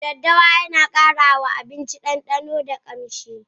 Daddawa Yana kara ma abinci dandano da kamshi.